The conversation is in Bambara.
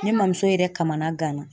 Ne mamuso yɛrɛ kamana gana.